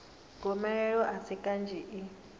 gomelelo a si kanzhi i